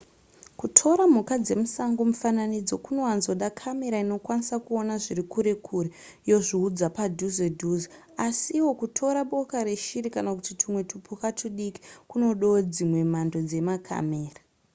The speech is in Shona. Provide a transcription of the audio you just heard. kutora mhuka dzemusango mifananidzo kunowanzoda kamera inokwanisa kuona zviri kure kure yozviudza padhuze dhuze asiwo kutora boka reshiri kana kuti tumwe tupuka tudiki kunodawo dzimwe mhando dzemakamera